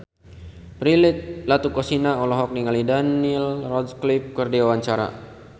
Prilly Latuconsina olohok ningali Daniel Radcliffe keur diwawancara